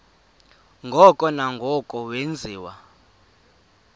ngoko nangoko wenziwa